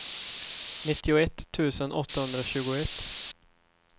nittioett tusen åttahundratjugoett